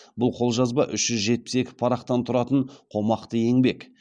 бұл қолжазба үш жүз жетпіс екі парақтан тұратын қомақты еңбек